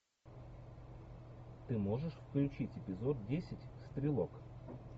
ты можешь включить эпизод десять стрелок